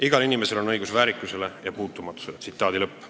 " Igal inimesel on õigus väärikusele ja puutumatusele.